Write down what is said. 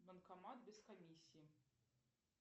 банкомат без комиссии